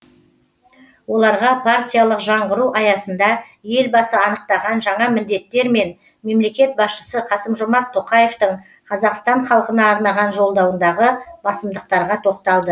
оларға партиялық жаңғыру аясында елбасы анықтаған жаңа міндеттер мен мемлекет басшысы қасым жомарт тоқаевтың қазақстан халқына арнаған жолдауындағы басымдықтарға тоқталды